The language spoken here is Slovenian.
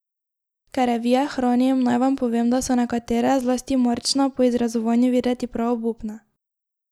Ker revije hranim, naj vam povem, da so nekatere, zlasti marčna, po izrezovanju videti prav obupne.